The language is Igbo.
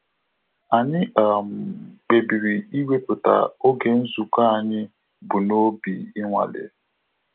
Anyị kpebiri iweputa oge nzukọ anyị bụ n'obi inwale